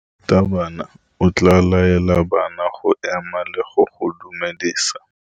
Morutabana o tla laela bana go ema le go go dumedisa.